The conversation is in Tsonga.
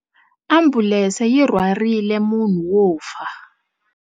Ambulense yi rhwarile munhu wo fa.